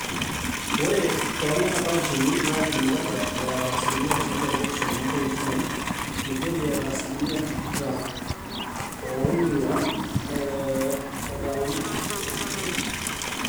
ore toonena kauntini naa kirinyaga eeta asilimia tikitam oopishana ompointi uni, migori eeta asilimia tikitam oopishana ompointi tikitam oopishana ompointi ong'wan etang'amutua imweyiaritin naapaasha alang inkulie kauntini